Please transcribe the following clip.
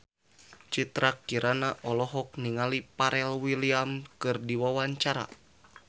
Citra Kirana olohok ningali Pharrell Williams keur diwawancara